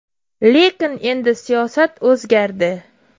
Lekin endi siyosat o‘zgardi”.